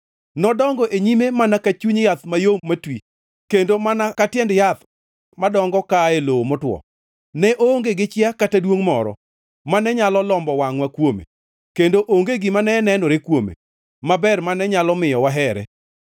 Nodongo e nyime mana ka chuny yath mayom matwi; kendo mana ka tiend yath madongo kaa e lowo motwo. Ne oonge gi chia kata duongʼ moro mane nyalo lombo wangʼwa kuome, kendo onge gima ne nenore kuome maber mane nyalo miyo wahere.